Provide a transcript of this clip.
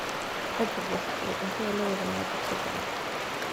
Rajab waxa uu cuntada la wadaagaa dadka jecel.